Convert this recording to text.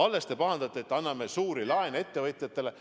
Alles te pahandasite, et anname suuri laene ettevõtjatele.